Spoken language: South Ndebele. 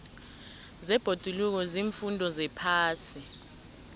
zebhoduluko ziimfundo zephasi